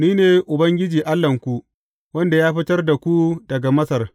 Ni ne Ubangiji Allahnku, wanda ya fitar da ku daga Masar.